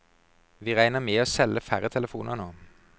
Vi regner med å selge færre telefoner nå.